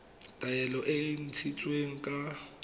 taelo e e ntshitsweng ka